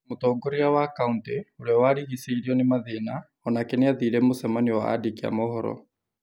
Mũtongoria wa kauntĩ ,ũria warigicĩirio nĩ mathĩna, o nake nĩ athire mũcemanio wa andĩki a mohoro.